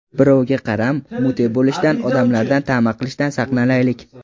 Birovga qaram, mute bo‘lishdan, odamlardan tama qilishdan saqlanaylik.